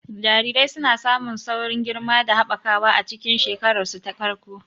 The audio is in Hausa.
Jarirai suna samun saurin girma da haɓakawa a cikin shekararsu ta farko.